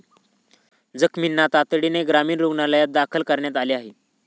जखमींना तातडीने ग्रामीण रुग्णालयात दाखल करण्यात आले आहे.